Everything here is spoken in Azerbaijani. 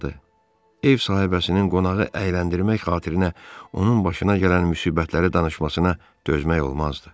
Ev sahibəsinin qonağı əyləndirmək xatirinə onun başına gələn müsibətləri danışmasına dözmək olmazdı.